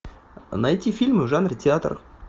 найти фильмы в жанре театр